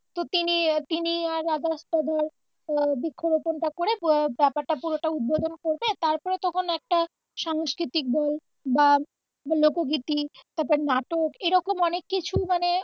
তো তিনি আহ তিনি আর ধর আহ বৃক্ষ রোপন টা করে ব্যাপারটা পুরোটা উদ্বোধন করে তারপরে তখন একটা সাংস্কৃতিক বল বা লোকগীতি তারপর নাটক এইরকম অনেক কিছু মানে